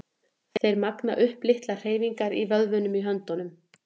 Þeir magna upp litlar hreyfingar í vöðvunum í höndunum.